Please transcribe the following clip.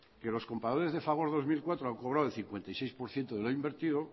que los compradores de fagor dos mil cuatro han cobrado el cincuenta y seis por ciento de lo invertido